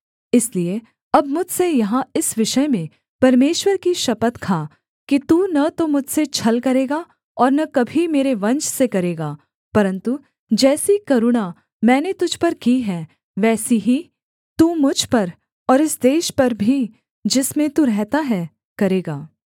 इसलिए अब मुझसे यहाँ इस विषय में परमेश्वर की शपथ खा कि तू न तो मुझसे छल करेगा और न कभी मेरे वंश से करेगा परन्तु जैसी करुणा मैंने तुझ पर की है वैसी ही तू मुझ पर और इस देश पर भी जिसमें तू रहता है करेगा